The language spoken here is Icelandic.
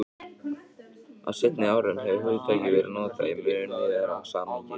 Á seinni árum hefur hugtakið verið notað í mun víðara samhengi.